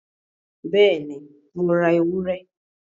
Bẹ́ẹ̀ni, Mo ra ewúrẹ?